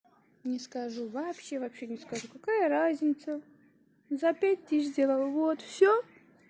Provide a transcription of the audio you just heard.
не скажу вообще вообще не скажу какая разница за пять тысяч сделала вот всё